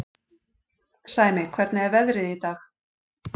Sæmi, hvernig er veðrið í dag?